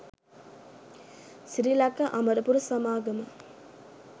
සිරිලක අමරපුර සමාගම